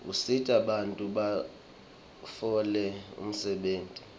usita bantfu batfole umsebenti